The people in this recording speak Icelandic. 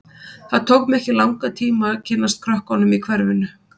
Það tók mig ekki langan tíma að kynnast krökkunum í hverfinu.